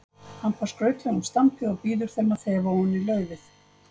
Hampar skrautlegum stampi og býður þeim að þefa ofan í laufið.